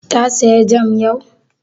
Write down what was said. Ta saya jam yau?